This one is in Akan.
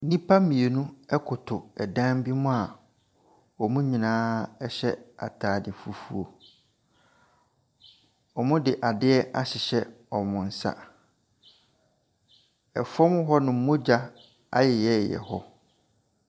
Nnipa mmienu koto dan bi mu a wɔn nyinaa hyɛ atade fufuo. Wɔde adeɛ ahyehyɛ wɔn nsa. Fam hɔnom, mogya ayeyɛyeyɛ hɔ.